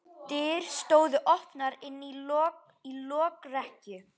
Dyr stóðu opnar inn í lokrekkju.